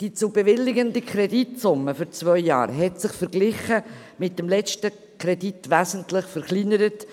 Die zu bewilligende Kreditsumme für zwei Jahre hat sich, verglichen mit dem letzten Kredit, wesentlich verkleinert.